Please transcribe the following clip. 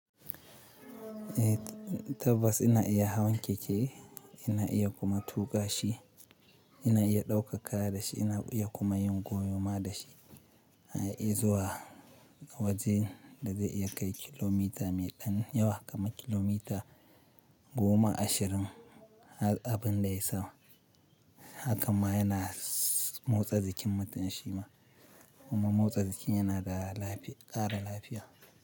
Eh tabbas ina iya hawan keke, ina iya kuma tuƙa shi, ina iya ɗauka kaya da shi, ina iya kuma yin goyo ma da shi. A iya zuwa wajen da zai iya kai kilomita me ɗan yawa kamar kilomita goma ashirin. Abin da ya yi sau, hakan ma yana motsa jikin mutum shi ma. Kuma motsa jiki yana ƙara lafiya.